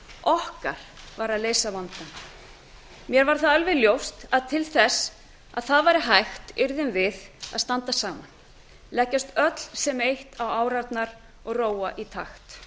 okkar var að leysa vandann mér varð alveg ljóst að til þess að það væri hægt yrðum við að standa saman leggjast öll sem eitt á árarnar og róa í takt